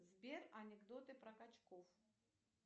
сбер анекдоты про качков